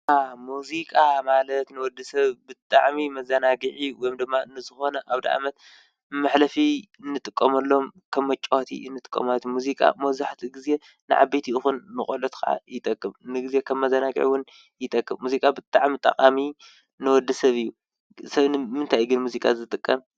ሙዚቃ ማለት ንወዲ ሰብ ብጣዕሚ መዘናግዒ ወይ ድማ ንዝኮነ ኣዉድ ኣመት መሕለፊ እንጥቀመሎም ከም መጫወቲ እንጥቀመሎም ሙዚቃ መብዛሕቲኡ ግዜ ዓበይቲ ይኩን ንቆልዑት ይጠቅም:: ንግዜ ከም መዝናግዒ እዉን ይጠቅም::ሙዚቃብጣዕሚ ጠቃሚ ንወድሰብ እዩ:: ሰብ ግን ንምንታይ እዩ ሙዚቃ ዝጥቀም?